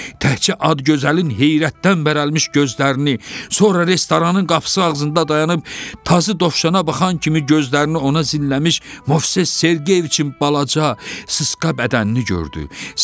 Təkcə ad-gözəlin heyrətdən bərələlmiş gözlərini, sonra restoranın qapısı ağzında dayanıb tazı dovşana baxan kimi gözlərini ona zilləmiş Movses Sergeyeviçin balaca, sıska bədənini gördü.